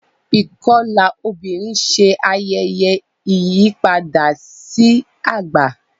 ikọla obìrin Ṣe ayẹyẹ ìyípadà sí àgbà.